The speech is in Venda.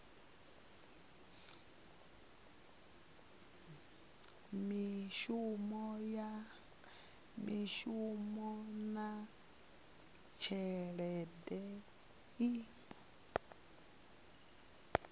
ya mishumo na tshelede i